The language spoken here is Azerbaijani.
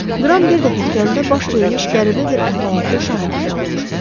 Qran bir dəfə dükanında baş vermiş qəribə bir əhvalatın şahidi də olmuşdu.